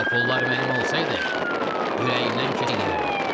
O pullar mənim olsaydı, ürəyimdən keçəni eləyərdim.